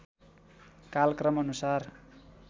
कालक्रम अनुसार